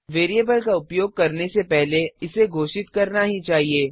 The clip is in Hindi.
वेरिएबल का उपयोग करने से पहले इसे घोषित करना ही चाहिए